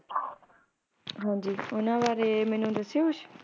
ਹਾਂਜੀ ਉਹਨਾਂ ਬਾਰੇ ਮੈਨੂੰ ਦੱਸਿਓ ਕੁਛ